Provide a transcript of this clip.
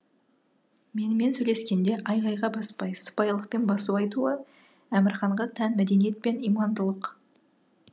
менімен сөйлескенде айғайға баспай сыпайылықпен басу айтуы әмірханға тән мәдениет пен имандылық